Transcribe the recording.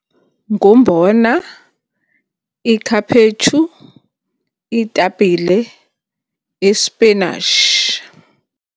Ngumbona, iikhaphetshu, iitapile, ispinashi.